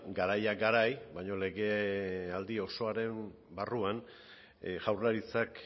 garaia garai baina legealdi osoaren barruan jaurlaritzak